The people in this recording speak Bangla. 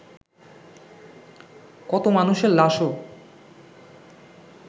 কত মানুষের লাশও